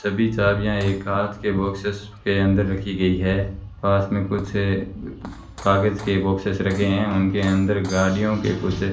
सभी चाबियां एक के बॉक्स के अंदर रखी गई है पास में कुछ कागज के बॉक्सेस रखे हैं उनके अंदर गाड़ियों के कुछ --